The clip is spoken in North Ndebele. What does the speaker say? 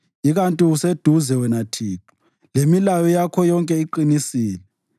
Ikanti useduze, wena Thixo, lemilayo yakho yonke iqinisile.